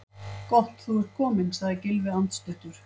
Gott þú ert kominn- sagði Gylfi andstuttur.